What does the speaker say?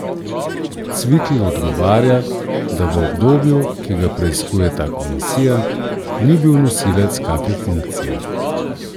Cvikl odgovarja, da v obdobju, ki ga preiskuje ta komisija, ni bil nosilec kake funkcije.